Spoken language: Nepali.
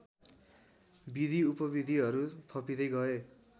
विधिउपविधिहरू थपिँदै गए